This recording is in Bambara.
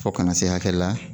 Fɔ kana na se hakɛ la